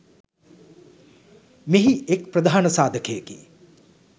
මෙහි එක් ප්‍රධාන සාධකයකි.